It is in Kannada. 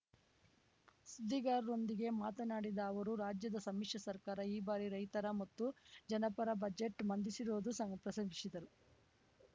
ಸುದ್ದಿಗಾರರೊಂದಿಗೆ ಮಾತನಾಡಿದ ಅವರು ರಾಜ್ಯದ ಸಮ್ಮಿಶ್ರ ಸರ್ಕಾರ ಈ ಬಾರಿ ರೈತರ ಮತ್ತು ಜನಪರ ಬಜೆಟ್‌ ಮಂಡಿಸಿರುವುದು ಪ್ರಶಂಸಿದರು